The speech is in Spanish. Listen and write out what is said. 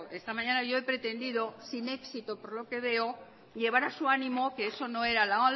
esta mañana yo he pretendido sin éxito por lo que veo llevar a su ánimo que eso no era la